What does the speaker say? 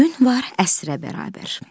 Gün var əsrə bərabər.